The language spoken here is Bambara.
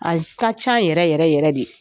Aye ka ca yɛrɛ yɛrɛ yɛrɛ de.